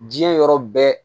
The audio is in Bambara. Diɲɛ yɔrɔ bɛɛ